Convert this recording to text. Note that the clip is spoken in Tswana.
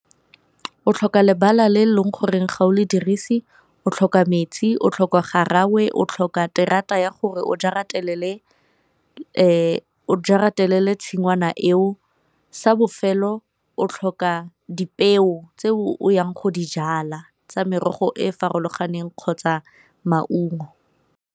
O tlhoka lebala le e leng gore ga o le dirise, o tlhoka metsi, o tlhoka garangwe, o tlhoka terata ya gore o jaratelele tshingwana eo, sa bofelo o tlhoka dipeo tse o yang go di jala tsa merogo e e farologaneng kgotsa maungo.